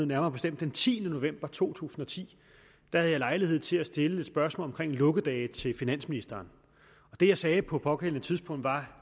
nærmere bestemt den tiende november to tusind og ti havde jeg lejlighed til at stille et spørgsmål om lukkedage til finansministeren og det jeg sagde på det pågældende tidspunkt var